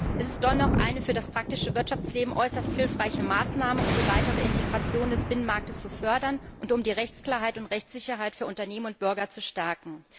Es ist dennoch eine für das praktische Wirtschaftsleben äußerst hilfreiche Maßnahme, um die weitere Integration des Binnenmarkts zu fördern und um die Rechtsklarheit und Rechtssicherheit für Unternehmen und Bürger zu stärken.